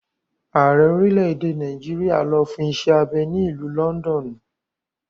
Ààrẹ orílẹ̀-èdè Nàìjíríà lọ fún iṣẹ́ abẹ ní ìlú lọ́ndọ̀nù.